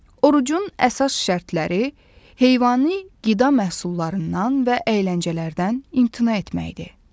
Orucun əsas şərtləri heyvani qida məhsullarından və əyləncələrdən imtina etməkdir.